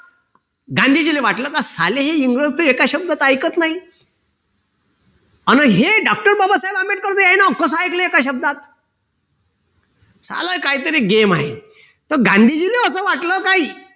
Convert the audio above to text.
गांधीजीला वाटले की हे साले एका शब्दात ऐकत नाही हे doctor बाबासाहेब आंबेडकरांचं कस ऐकलं एका शब्दात साल काही तरी game आहे तर गांधीजीले असं वाटलं का काय हे